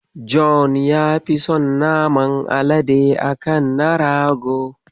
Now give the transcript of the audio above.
John ya fi son naman alade a kan na rago.